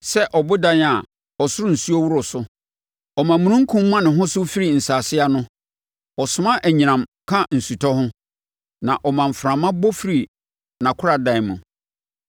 Sɛ ɔbobɔm a, ɔsoro nsuo woro so; ɔma omununkum ma ne ho so firi nsase ano. Ɔsoma anyinam ka ɔsutɔ ho na ɔma mframa bɔ firi nʼakoradan mu.